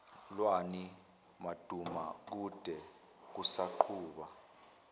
lwani madumakude kusaqhuba